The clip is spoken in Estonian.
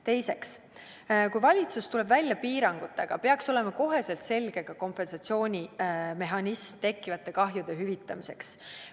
Teiseks, kui valitsus tuleb välja piirangutega, peaks olema kohe selge ka kompensatsioonimehhanism tekkivate kahjude hüvitamiseks.